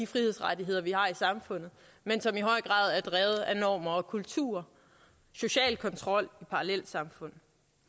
frihedsrettigheder vi har i samfundet men som i høj grad er drevet af normer og kultur social kontrol og parallelsamfund